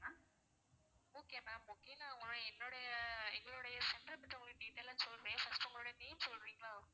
okay ma'am okay நான் என்னுடைய எங்களுடைய center பத்தி உங்களுக்கு detail லா சொல்றேன் first உங்களோட name சொல்றீங்களா